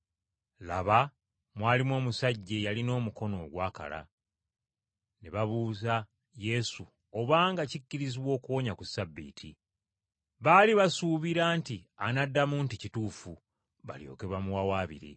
Laba mwalimu omusajja eyalina omukono ogwakala. Ne babuuza Yesu obanga kikkirizibwa okuwonya ku Ssabbiiti. Baali basuubira nti anaddamu nti kituufu, balyoke bamuwawaabire.